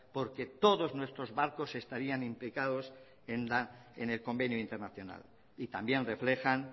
porque todos nuestros barcos estarían imprecados en el convenio internacional y también reflejan